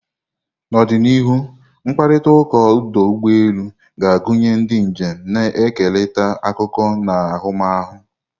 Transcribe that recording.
N'ọdịnihu, mkparịta ụka ọdụ ụgbọ elu ga-agụnye ndị njem na-ekerịta akụkọ na ahụmahụ.